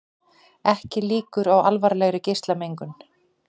Ekki líkur á alvarlegri geislamengun